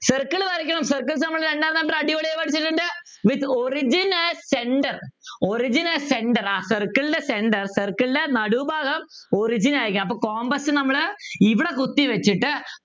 circle വരയ്ക്കണം circles നമ്മള് രണ്ടാം അടിപൊളിയായി പഠിച്ചിട്ടുണ്ട് With origin at centre origin at centre circle ൻ്റെ centre circle ൻ്റെ നടുഭാഗം origin ആയിരിക്കണം അപ്പൊ compass നമ്മള് ഇവിടെ കുത്തി വെച്ചിട്ട്